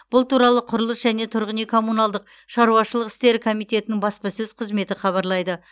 бұл туралы құрылыс және тұрғын үй коммуналдық шаруашылық істері комитетінің баспасөз қызметі хабарлайды